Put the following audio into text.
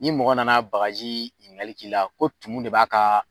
Ni mɔgɔ nana bakaji ɲininkakali k'i la ,ko tunu de b'a ka